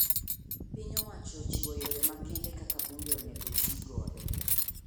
Piny owacho ochiwo yore makende kaka bunge onego tii godo.